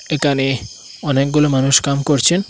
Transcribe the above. একানে অনেকগুলো মানুষ কাম করছেন।